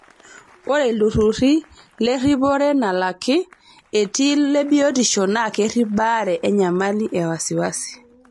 Ore ilturruri leripore nalaki, etii lebiotisho naa kerrip baare enyamali e wasiwasi.